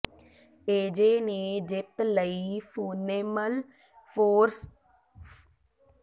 AJ ਨੇ ਜਿੱਤ ਲਈ ਫੋਨੇਮਲ ਫੋਰਮ ਨੂੰ ਟੱਕਰ ਦਿੱਤੀ